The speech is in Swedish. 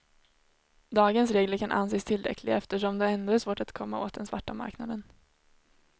Dagens regler kan anses tillräckliga eftersom det ändå är svårt att komma åt den svarta marknaden.